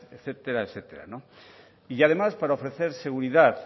etcétera etcétera y además para ofrecer seguridad